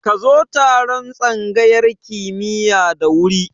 Ka zo taron tsangayar kimiya da wuri